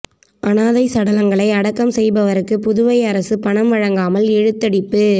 அனாதை சடலங்களை அடக்கம் செய்பவருக்கு புதுவை அரசு பணம் வழங்காமல் இழுத்தடிப்பு